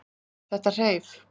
Þetta hreif.